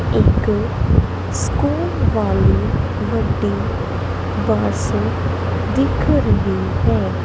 ਇੱਕ ਸਕੂਲ ਵਾਲੀ ਵੱਡੀ ਬੱਸ ਦਿਖ ਰਹੀ ਹੈ।